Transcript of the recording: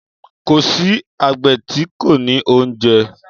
Kò sí àgbẹ̀ tí kò ní oúnjẹ.